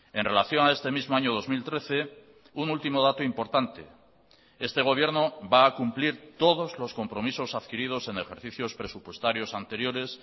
en relación a este mismo año dos mil trece un último dato importante este gobierno va a cumplir todos los compromisos adquiridos en ejercicios presupuestarios anteriores